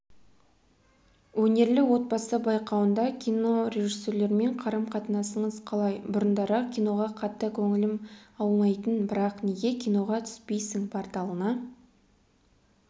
өнерлі отбасы байқауында кинорежиссерлермен қарым-қатынасыңыз қалай бұрындары киноға қатты көңілім аумайтын бірақ неге киноға түспейсің порталына